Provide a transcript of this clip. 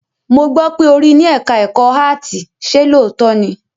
Mo gbọ́ pé ó rí ní ẹ̀ká ẹ̀kọ́ áàtì, ṣe lóòótọ́ ni?